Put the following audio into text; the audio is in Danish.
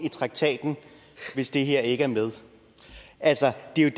i traktaten hvis det her ikke er med altså det er